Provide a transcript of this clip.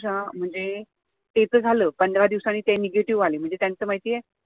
म्हणजे ते तर झालं पंधरा दिवसांनी ते negative म्हणजे त्यांचं माहिती आहे